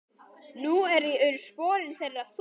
Nú eru sporin þeirra þung.